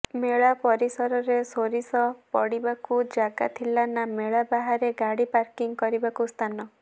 ମେଳା ପରିସରରେ ସୋରିଷ ପଡ଼ିବାକୁ ଜାଗା ଥିଲା ନା ମେଳା ବାହାରେ ଗାଡ଼ି ପାର୍କିଂ କରିବାକୁ ସ୍ଥାନ